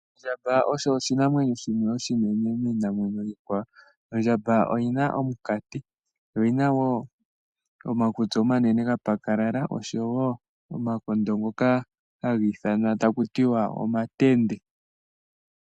Ondjamba osho oshinamwenyo oshinene miinamwenyo iikwawo. Ondjamba oyina omunkati, oyina woo omakutsi omanene gapakalala oshowo omakondo ngoka haga ithanwa takutiwa omatende.